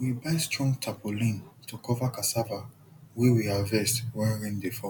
we buy strong tarpaulin to cover cassava wey we harvest when rain dey fall